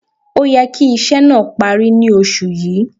Ó yẹ kí iṣẹ́ náà parí ní Oṣù yìí